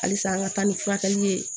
Halisa an ka taa ni furakɛli ye